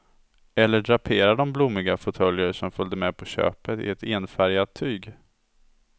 Eller drapera de blommiga fåtöljer som följde med på köpet i ett enfärgat tyg.